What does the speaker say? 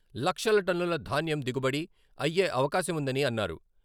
లక్షల టన్నుల ధాన్యం దిగుబడిఅయ్యే అవకాశముందని అన్నారు.